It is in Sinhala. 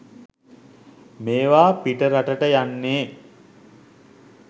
මේවා පිටරටට යන්නේ